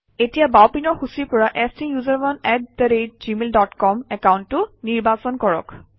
এতিয়া বাওঁপিনৰ সূচীৰ পৰা STUSERONEgmail ডট কম একাউণ্টটো নিৰ্বাচন কৰক